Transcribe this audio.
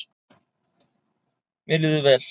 Mér líður vel.